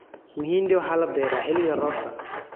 Mahindi waxaa la beeraa xilliga roobka.